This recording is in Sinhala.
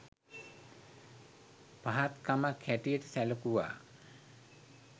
පහත් කමක් හැටියට සැලකුවා